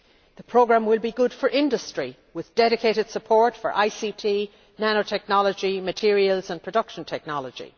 The programme will be good for industry, with dedicated support for ICT, nanotechnology, materials and production technology.